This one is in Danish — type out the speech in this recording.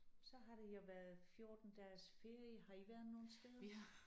Så har det jo været 14 dages ferie har I været nogen steder?